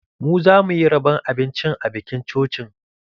Mu zamuyi rabon abincin a bikin cocin.